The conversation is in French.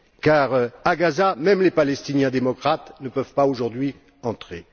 Car à Gaza, même les Palestiniens démocrates ne peuvent pas, aujourd'hui, entrer.